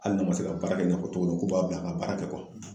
Hali n'a ma se ka baara kɛ i n'a o cogo min, k'u b'a bila a ka baara kɛ